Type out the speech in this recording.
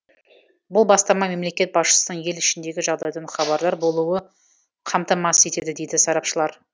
бұл бастама мемлекет басшысының ел ішіндегі жағдайдан хабардар болуы қамтамасыз етеді дейді сарапшылар